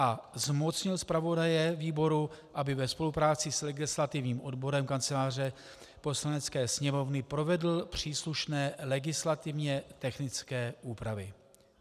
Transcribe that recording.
A zmocnil zpravodaje výboru, aby ve spolupráci s legislativním odborem Kanceláře Poslanecké sněmovny provedl příslušné legislativně technické úpravy.